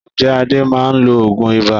Ǹjẹ́ Adé máa lo òògùn ibà?